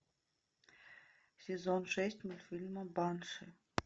сезон шесть мультфильма банши